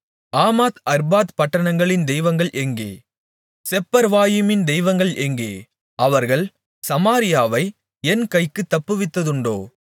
ஆமாத் Arpad பட்டணங்களின் தெய்வங்கள் எங்கே செப்பர்வாயிமின் தெய்வங்கள் எங்கே அவர்கள் சமாரியாவை என் கைக்குத் தப்புவித்ததுண்டோ